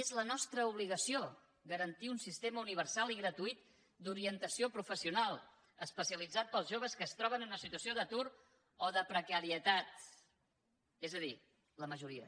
és la nostra obligació garantir un sistema universal i gratuït d’orien tació professional especialitzat per als joves que es troben en una situació d’atur o de precarietat és a dir la majoria